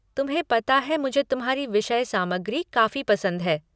तुम्हें पता है मुझे तुम्हारी विषय सामग्री काफ़ी पसंद है